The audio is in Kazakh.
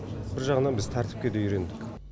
бір жағынан біз тәртіпке де үйрендік